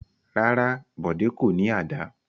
Rárá, Bọ̀dé kò ní àdá.